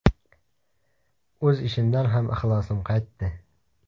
O‘z ishimdan ham ixlosim qaytdi.